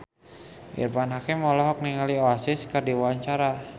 Irfan Hakim olohok ningali Oasis keur diwawancara